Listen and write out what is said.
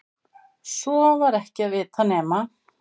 Svo var ekki að vita nema